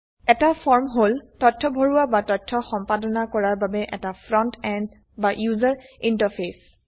এটা ফৰ্ম হল তথ্য ভৰোৱা বা তথ্য সম্পাদনা কৰাৰ বাবে এটা ফ্ৰন্ট এন্ড বা ইউজাৰ ইন্টাৰফেস